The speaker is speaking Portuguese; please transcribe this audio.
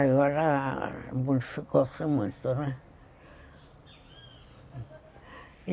Agora modificou-se muito, né?